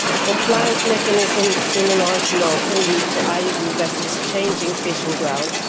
Compliance mechanisms in an RFMO can lead to IUU vessels changing fishing grounds.